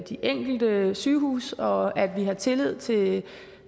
de enkelte sygehuse og at vi har tillid til